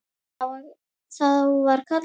Þá var kallað á okkur.